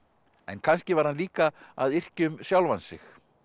en kannski var hann líka að yrkja um sjálfan sig